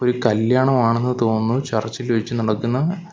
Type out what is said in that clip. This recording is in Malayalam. ഒരു കല്യാണം ആണെന്ന് തോന്നുന്നു ചർച്ചിൽ വെച്ച് നടക്കുന്ന.